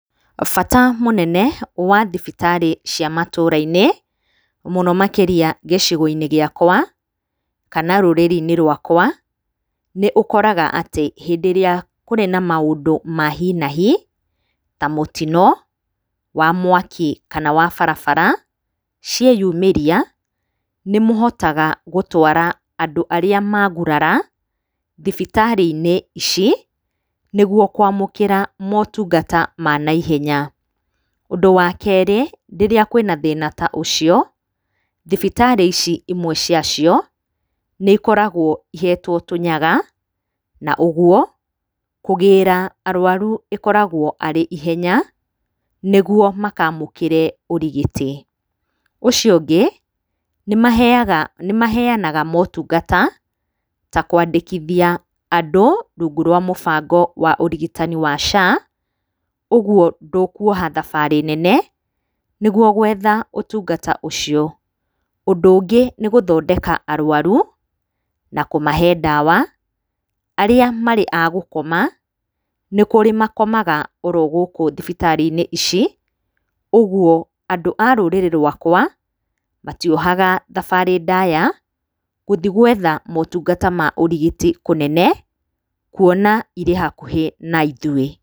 Bata mũnene wa thibitarĩ cia matũra-inĩ, mũno makĩria gĩcigo-inĩ gĩakwa, kana rũrĩrĩ-inĩ rwakwa, nĩ ũkoraga atĩ hĩndĩ ĩrĩa kũrĩ na maũndũ ma hi na hi, ta mũtino wa mwaki, kana wa barabara, cieyumĩria, nĩ mũhotaga gũtwara andũ arĩa maagũrara, thibitarĩ-inĩ ici nĩguo kuamũkĩra motungata ma naihenya. Ũndũ wa kerĩ, rĩrĩa kwĩna thĩna ta ũcio, thibitarĩ ici imwe cia cio nĩ ikoragwo ihetwo tũnyaga, na ũguo kũgĩra arũaru ĩkoragwo arĩ ihenya, nĩguo makamũkĩre ũrigiti. Ũcio ũngĩ, nĩ maheyaga, nĩ maheyanaga motungata, ta kũandĩkithia andũ rungu rwa mũbango wa ũrigitani wa SHA, ũguo ndũkuoha thabarĩ nene nĩguo gwetha ũtungata ũcio. Ũndu ũngĩ nĩ gũthondeka arũaru na kũmahe ndawa, arĩa marĩ a gũkoma, nĩ kũrĩ makomaga o ro gũkũ thibitarĩ-inĩ ici. Ũguo andũ a rũrĩrĩ rũakwa, matiohaga thabarĩ ndaya gũthiĩ gwetha motungata ma ũrigiti kũnene, kuona irĩ hakuhĩ na ithuĩ.